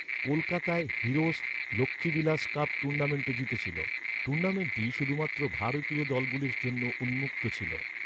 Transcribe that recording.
কলকাতায়, Heroes, Lakshmibilas cup টুর্নামেন্টও জিতেছিল। টুর্নামেন্টটি শুধুমাত্র ভারতীয় দলগুলির জন্য উন্মুক্ত ছিল।